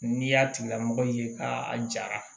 N'i y'a tigilamɔgɔ ye ka a jara